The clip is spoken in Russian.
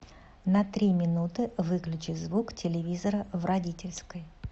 на три минуты выключи звук телевизора в родительской